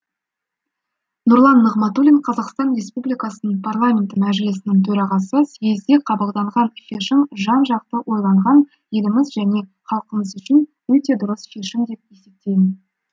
нұрлан нығматулин қазақстан республикасының парламенті мәжілісінің төрағасы съезде қабылданған шешім жан жақты ойланған еліміз және халқымыз үшін өте дұрыс шешім деп есептеймін